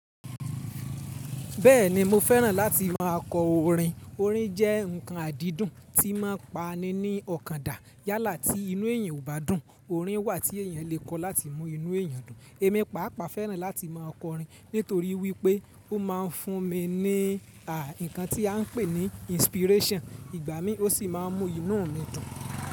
Bẹ́ẹ̀ni mo fẹ́ràn láti má a kọ orin. Orin jẹ́ ǹkan àdídùn tí ń má a pa ni ní ọ̀kan dà. Yálà tí inú èyàn ò bá dùn, orin wà tí èyàn lè kọ láti mú inú èyàn dùn. Émi pàápàá fẹ́ràn láti má a kọ orin nítorí wípé ó má a ń fún mi ní à ǹkan tí a ń pè ní inspiration ìgbà mí ó sì má a ń mú inú mi dùn.